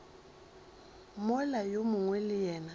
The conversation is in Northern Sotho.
mola yo mongwe le yena